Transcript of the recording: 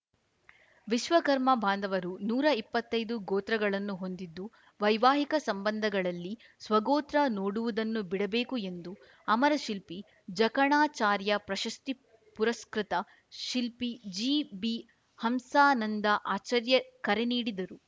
ವಿಶ್ವಕರ್ಮ ಬಾಂಧವರು ನೂರಾ ಇಪ್ಪತ್ತೈದು ಗೋತ್ರಗಳನ್ನು ಹೊಂದಿದ್ದು ವೈವಾಹಿಕ ಸಂಬಂಧಗಳಲ್ಲಿ ಸ್ವಗೋತ್ರ ನೋಡುವುದನ್ನು ಬಿಡಬೇಕು ಎಂದು ಅಮರ ಶಿಲ್ಪಿ ಜಕಣಾಚಾರ್ಯ ಪ್ರಶಸ್ತಿ ಪುರಸ್ಕೃತ ಶಿಲ್ಪಿ ಜಿಬಿಹಂಸಾನಂದ ಆಚಾರ್ಯ ಕರೆ ನೀಡಿದರು